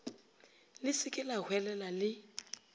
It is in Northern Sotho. le se ke lahwelela le